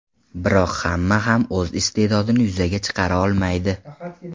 Biroq hamma ham o‘z iste’dodini yuzaga chiqara olmaydi.